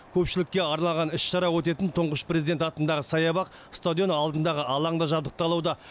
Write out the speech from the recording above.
көпшілікке арналған іс шара өтетін тұңғыш президент атындағы саябақ стадион алдындағы алаң да жабдықталуда